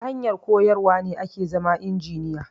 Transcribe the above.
Ta hanyar koyar wane ake zama injiniya